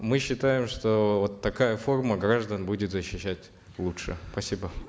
мы считаем что вот такая форма граждан будет защищать лучше спасибо